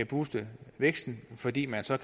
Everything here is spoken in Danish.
booste væksten fordi man så